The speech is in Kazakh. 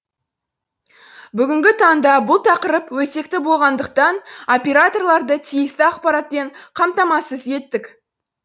бүгінгі таңда бұл тақырып өзекті болғандықтан операторларды тиісті ақпаратпен қамтамасыз еттік